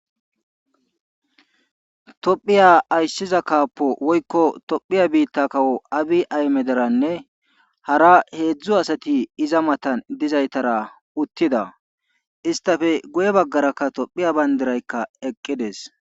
Tophiya aysiza kaappo woykko tophiya biitta kawo abi ahimederanne hara heedzdzu asati iay matan dizaystara uttida isttafe guye baggarakka tophiya banddiraykka eqqides.